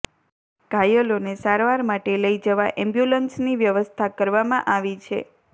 ધાયલોને સારવાર માટે લઈ જવા એમ્બ્યુલન્સની વ્યવસ્થા કરવામાં આવી છે